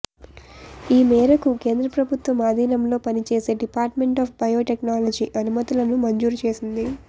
ఈ మేరకు కేంద్ర ప్రభుత్వం ఆధీనంలో పనిచేసే డిపార్ట్మెంట్ ఆప్ బయో టెక్నాలజీ అనుమతులను మంజూరు చేసింది